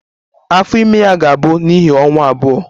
Afọ ime ya ga-abụ n'ihi ọnwa abụọ